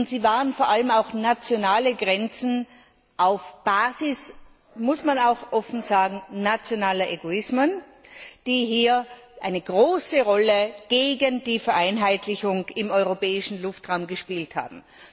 Sie waren vor allem auch nationale Grenzen auf der Basis das muss man auch offen sagen nationaler Egoismen, die hier eine große Rolle gegen die Vereinheitlichung im europäischen Luftraum gespielt haben.